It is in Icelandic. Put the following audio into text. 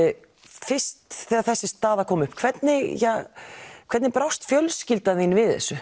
fyrst þegar þessi staða kom upp hvernig hvernig brást fjölskyldan þín við þessu